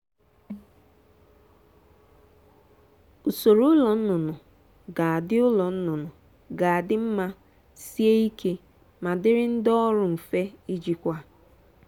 usoro ụlọ nnụnụ ga-adị ụlọ nnụnụ ga-adị mma sie ike ma dịrị ndị ọrụ mfe ijikwa.